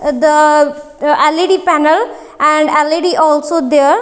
the led panel and led also there.